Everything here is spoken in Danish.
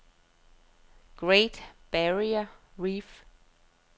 Great Barrier Reef